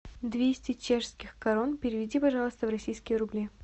двести чешских крон переведи пожалуйста в российские рубли